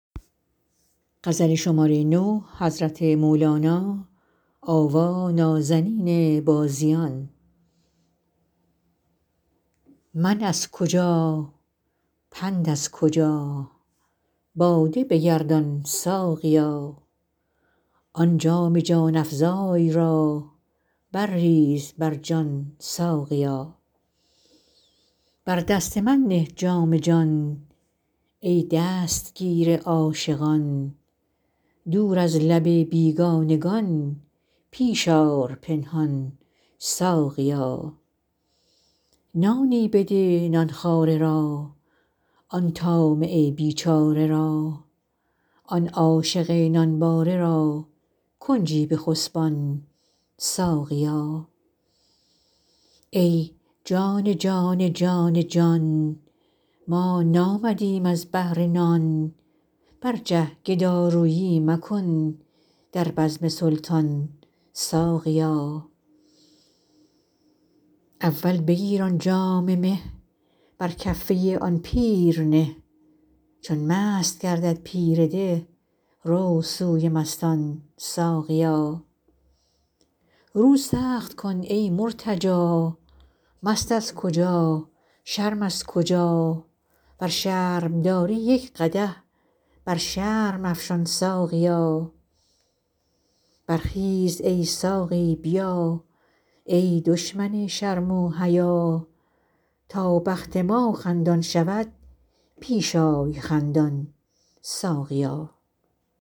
من از کجا پند از کجا باده بگردان ساقیا آن جام جان افزای را برریز بر جان ساقیا بر دست من نه جام جان ای دستگیر عاشقان دور از لب بیگانگان پیش آر پنهان ساقیا نانی بده نان خواره را آن طامع بیچاره را آن عاشق نانباره را کنجی بخسبان ساقیا ای جان جان جان جان ما نامدیم از بهر نان برجه گدارویی مکن در بزم سلطان ساقیا اول بگیر آن جام مه بر کفه آن پیر نه چون مست گردد پیر ده رو سوی مستان ساقیا رو سخت کن ای مرتجا مست از کجا شرم از کجا ور شرم داری یک قدح بر شرم افشان ساقیا برخیز ای ساقی بیا ای دشمن شرم و حیا تا بخت ما خندان شود پیش آی خندان ساقیا